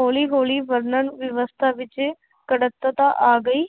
ਹੌਲੀ ਹੌਲੀ ਵਰਣਨ ਵਿਵਸਥਾ ਵਿੱਚ ਕੜਤਤਾ ਆ ਗਈ,